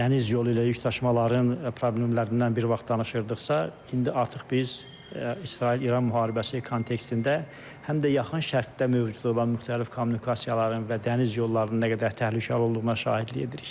Dəniz yolu ilə yükdaşımaların problemlərindən bir vaxt danışırdıqsa, indi artıq biz İsrail-İran müharibəsi kontekstində həm də yaxın şərqdə mövcud olan müxtəlif kommunikasiyaların və dəniz yollarının nə qədər təhlükəli olduğuna şahidlik edirik.